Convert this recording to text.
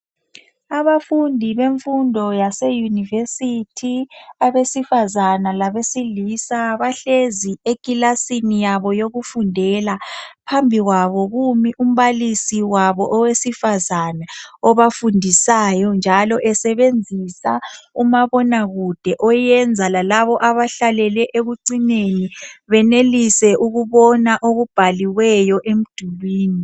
Abafundi bemfundo yase university abesifazane labesilisa bahlezi eklasini yabo yokufundela , phambi kwabo kumi umbalisi wabo owesifazane obafundisayo njalo esebenzisa umabonakude oyenza lalabo abahlalele ekucineni benelise ukubona okubhaliweyo emdulwini